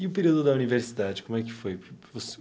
E o período da universidade, como é que foi?